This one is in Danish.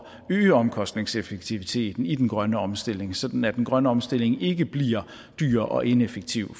øge omkostningseffektiviteten i den grønne omstilling sådan at den grønne omstilling ikke bliver dyr og ineffektiv